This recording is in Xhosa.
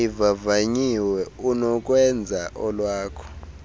ivavanyiwe unokwenza olwakho